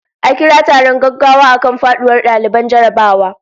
A kira taron gaggawa akan faduwar daliban jarrabawa